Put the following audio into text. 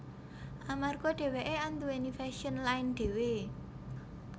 Amarga dheweké anduwèni fashion line dhewe